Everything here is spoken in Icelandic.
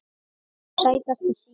Sætasti sigur?